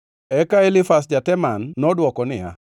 Eka Elifaz ja-Teman nodwoko niya,